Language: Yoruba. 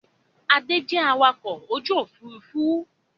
Adé jẹ awakọ̀ ojú Òfurufú